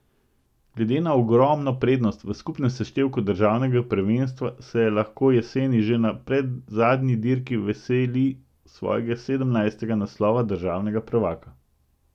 Glede na ogromno prednost v skupnem seštevku državnega prvenstva se lahko jeseni že na predzadnji dirki veseli svojega sedemnajstega naslova državnega prvaka.